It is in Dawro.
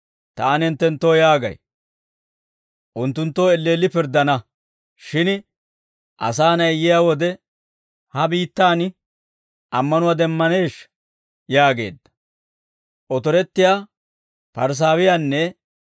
Taani hinttenttoo yaagay; unttunttoo elleelli pirddana; shin Asaa Na'ay yiyaa wode ha biittaan ammanuwaa demmaneeshsha?» yaageedda.